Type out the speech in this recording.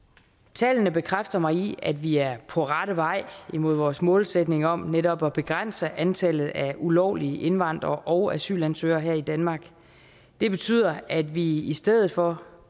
tallene bekræfter mig i at vi er på rette vej mod vores målsætning om netop at begrænse antallet af ulovlige indvandrere og asylansøgere her i danmark det betyder at vi i stedet for